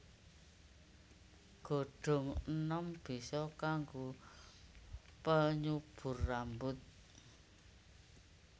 Godhong enom bisa kangge penyubur rambut